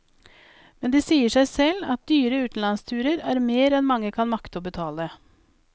Men det sier seg selv at dyre utenlandsturer er mer enn mange kan makte å betale.